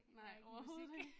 Der ingen musik